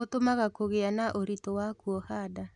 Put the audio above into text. ũtũmaga kũgĩa na ũritũ wa kuoha nda